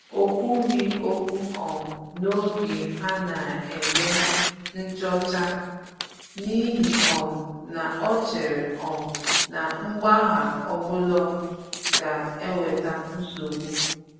O kwughi okwu um n’oge ha na-eme nchọ̀chá, n’ihi um na ọ chèrè um na mgbagha ọbụla gà-ewètà nsogbu